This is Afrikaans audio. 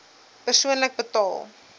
persoonlik betaal